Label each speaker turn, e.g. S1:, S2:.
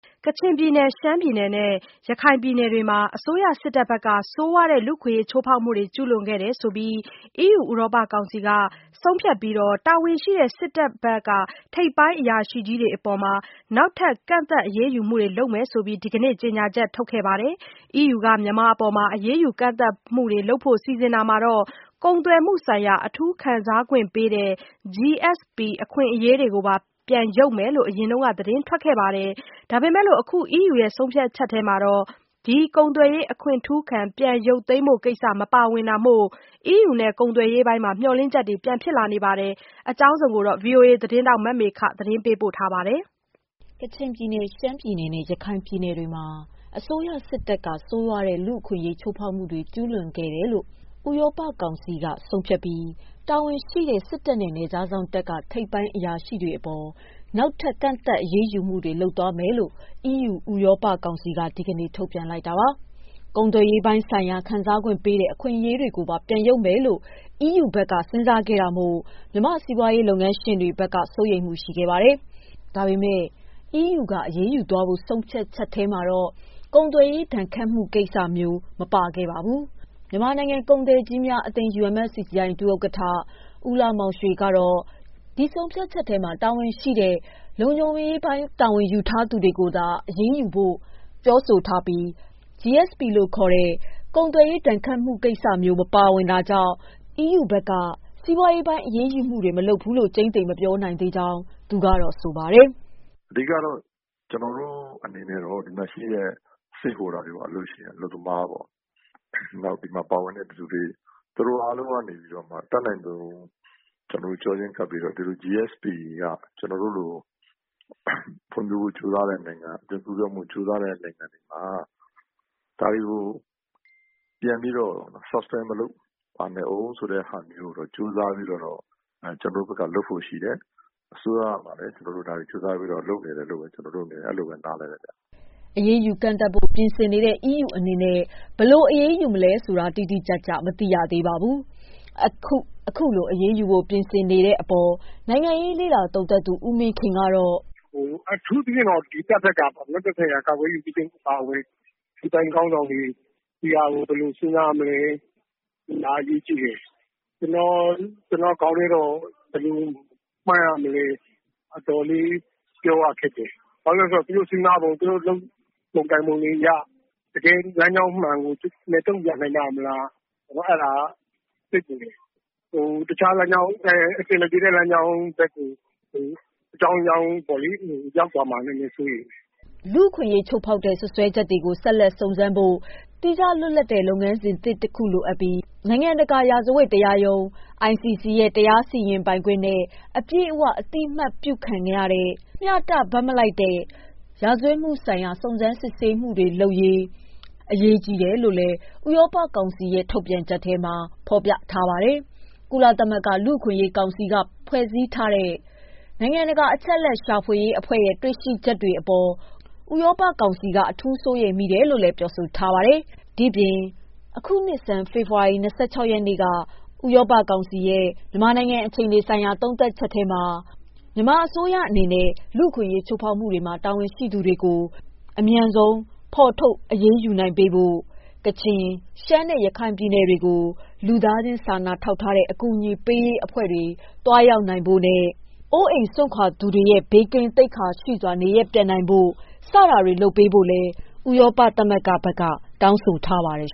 S1: ကချင်ပြည်နယ် ရှမ်းပြည်နယ်နဲ့ ရခိုင်ပြည်နယ်တွေမှာ အစိုးရစစ်တပ်က ဆိုးဝါးတဲ့လူ့အခွင့်ချိုးဖောက်မှုတွေကျူးလွန်ခဲ့တယ်လို့ ဥရောပကောင်စီက ဆုံးဖြတ်ပြီး တာဝန်ရှိတဲ့ စစ်တပ်ဘက် ထိပ်ပိုင်းအရာရှိကြီးတွေအပေါ် နောက်ထပ်ကန့်သတ်အရေးယူမှုတွေလုပ်မယ်လို့ ဒီကနေ့ကြေညာချက်ထုတ်ခဲ့ပါတယ်။ EU က မြန်မာအပေါ် အရေးယူကန့်သတ်မှုတွေ လုပ်ဖို့ စီစဉ်တာမှာ၊ ကုန်သွယ်မှုဆိုင်ရာ အထူးခံစားခွင့်ပေးတဲ့ GSP အခွင့်အရေးတွေကိုပါ ပြန်ရုပ်မယ်လို့ အရင်က သတင်းထွက်ခဲ့ပါတယ်။ ဒါပေမယ့် အခု EU ဆုံးဖြတ်ချက်ထဲမှာ ဒီ ကုန်သွယ်ရေးအခွင့်ထူးခံ ပြန်ရုပ်သိမ်းဖို့ကိစ္စ မပါဝင်တာမို့၊ EU နဲ့ ကုန်သွယ်ရေးပိုင်းမှာ မျှော်လင့်ချက်တွေ ပြန်ဖြစ်လာပါတယ်။ ဒီအကြောင်း ဗွီအိုအေ သတင်းထောက် မမေခ က စုံစမ်းမေးမြန်း သတင်းပေးပို့ထားပါတယ်
S2: ။ ကချင်ပြည်နယ် ရှမ်းပြည်နယ်နဲ့ ရခိုင်ပြည်နယ်တွေမှာ အစိုးရစစ်တပ်က ဆိုးဝါးတဲ့လူ့အခွင့်ချိုးဖောက်မှုတွေကျူးလွန်ခဲ့တယ်လို့ ဥရောပကောင်စီက ဆုံးဖြတ်ပြီး တာဝန်ရှိတဲ့ စစ်တပ်နဲ့ နယ်ခြားစောင့်တပ်က ထိပ်ပိုင်းအရာရှိကြီးတွေအပေါ် နောက်ထပ်ကန့်သတ်အရေးယူမှုတွေလုပ်မယ်လို့ EU ဥရောပကောင်စီက ဒီကနေ့ထုတ်ပြန်လိုက်တာပါ။ ကုန်သွယ်ရေးပိုင်းဆိုင်ရာခံစားခွင့်ပေးတဲ့ အခွင့်အရေးတွေကိုပါပြန်ရုပ်မယ်လို့ EU ဖက်က စဉ်းစားခဲ့တာမို့ မြန်မာ့စီးပွားရေးလုပ်ငန်းရှင်တွေဖက်က စိုးရိမ်မှုရှိခဲ့ပါတယ်။ ဒါပေမယ့် EU က အရေးယူသွားဖို့ဆိုတဲ့ ဆုံးဖြတ်ချက်ထဲမှာတော့ ကုန်သွယ်ရေးဒဏ်ခတ်မှု့ကိစ္စမျိုး မပါပါဘူး။ မြန်မာနိုင်ငံ ကုန်သည်ကြီးများ အသင်း UMFCCI ဒုဥက္ကဌ ဦးလှမောင်ရွှေကတော့ ဒီ ဆုံးဖြတ်ချက်ထဲမှာ တာဝန်ရှိတဲ့ လုံခြုံရေးပိုင်းတာဝန်ရှိသူတွေကို အရေးယူဖို့ဆိုတာပဲ ပါပြီး GSP ကိစ္စကိုပြောဆိုထားတာ မရှိလို့ စီးပွားရေးပိုင်းအရေးယးူမှုတွေ မလုပ်ဖးူးလို့ ကျိမ်း သေမပြောနိုင်သေးဘူးလို့ဆိုပါတယ်. "
S3: အဓိကတော့ ကျနော်တို့အနေနဲ့တော့ ဒီမှာရှိတဲ့ stakeholder တွေပေ့ါ အလုပ်ရှင် အလုပ်သမားပေါ့ ။ နောက်ပြီး ဒီမှာပါဝင်သူတွေ သူတို့အားလုံးကနေပြီး အတတ်နိုင်ဆုံး ဒီ GSP က ကျနော်တို့လို ဖွံ့ဖြိုးဖို့ ကြိုးစားတဲ့နိုင်ငံတွေမှာ ဒါတွေကို ပြန်ပြီးတော့ suspend မလုပ်ပါနဲ့ဦး ဆိုတာမျိုးကိုတော့ ကြိုးစားပြီးတော့ ကျနော်တို့ဘက်ကလုပ်ဖို့ရှိတယ်။ အစိုးရမှာလည်း ကျနော်တို့ ဒါတွေကြိုးစားပြီးတော့လုပ်နေတယ်လို့ ကျနော်တို့အနေနဲ့ အဲလိုပဲ နားလည်ပါ
S2: တယ်။" အရေးယူ ကန့်သန့်ဖို့ ပြင်ဆင်နေတဲ့ EU အနေနဲ့ ဘယ်လိုအရေးယူမလဲဆိူတာ တိတိကျကျမသိရသေးပါဘူး။ အခုလို အရေး.ယှုဖို့ပြင်ဆင်နေတဲ့ အပေါ် နိုင်ငံရေးလေ့လာ သူံသပ်သူဦးမင်းခင်ကတော့
S4: "အထူးသဖြင့်တော့ တပ်ဘက်ကပေါ့နော် ကာကွယ်ရေးဦးစီးချုပ်အပါအဝင် စစ်ပိုင်းခေါင်းဆောင်တွေ ဒီဟာကို ဘယ်လိုစဉ်းစားမလဲ ဒါကအရေးကြီးတယ်။ ကျနော်ဘယ်လိုမှန်းရမလဲဆိုတာကတော့ အတော်လေး ပြောရခက်တယ်။ ဘာလို့လဲဆိုတော့ သူတို့စဉ်းစားပုံ လုပ်ပုံကိုင်ပုံတွေက တကယ့်လမ်းကြောင်းအမှန်ကို တုံ့ပြန်နိုင်ပါ့မလား အဲဒါက စိတ်ပူတယ်။ တခြားလမ်းကြောင်း အဆင်မပြေတဲ့ လမ်းကြောင်းဘက်ကို အကြောင်းကြောင်းကြောင့် ရောက်သွားမှာကို စိုးရိမ်ပါတယ်
S2: ။" လူ့အခွင့်အရေးချိုးဖောက်တဲ့စွပ်စွဲချက်တွေကို ဆက်လက်စုံစမ်းဖို့ သီးခြားလွတ်လပ်တဲ့ လုပ်ငန်းစဉ်သစ်တခု လိုအပ်ပြီး၊ နိုင်ငံတကာရာဇဝတ်တရားရုံး ICC ရဲ့တရားစီရင်ပိုင်ခွင့်နဲ့ အပြည့်အဝအသိအမှတ်ပြုခံရတဲ့ မျှတ ဘက်မလိုက်တဲ့ ရာဇဝတ်မှုဆိုင်ရာ စုံစမ်းစစ်ဆေးမှုတွေလုပ်ရေးပြင်ဆင်ဖို့အရေးကြီးတယ်ဆိုတာကိုလည်း ဥရောပကောင်စီရဲ့ ထုတ်ပြန်ချက်ထဲမှာ အလေးပေး ပြောထားပါတယ်။ ကုလသမဂ္ဂလူ့အခွင့်အရေးကောင်စီကဖွဲ့စည်းထားတဲ့ နိုင်ငံတကာအချက်အလက်ရှာဖွေရေးအဖွဲ့ရဲ့ တေ့ွရှိချက်တွေအပေါ် ဥရောပကောင်စီက အထူးစိုးရိမ်တယ်လို့ပြောပါတယ်။ အခုနှစ်ဆန်း February လ ၂၆ ရက်နေ့က ချခဲ့တဲ့ ဥရောပကောင်စီရဲ့ မြန်မာနိုင်ငံ အခြေအနေဆိုင်ရာ သုံးသပ်ချက်ထဲမှာ မြန်မာအစိုးရကို တောင်းဆိုခဲ့တဲ့အတိုင်း လူ့အခွင့်အရေးချိုးဖောက်မှုမှာ တာဝန်ရှိသူတွေကို အမြန်ဆုံးအရေးယူနိုင်ရေးဆောင်ရွက်ဖို့၊ ကချင် ရှမ်းနဲ့ ရခိုင်ပြည်နယ်တွေကို လူသားချင်းစာနာတဲ့အကူအညီပေးရေးအဖွဲ့တွေသွားရောက်နိုင်ဖို့နဲ့ အိုးအိမ်စွန့်ခွာခဲ့ရသူတွေ ဘေးကင်း သိက္ခာရှိစွာနဲ့ နေရပ်ပြန်နိုင်ဖို့ဆိုတဲ့အချက်တွေကိုလည်း ထပ်ပြီးတောင်းဆိုထားပါတယ်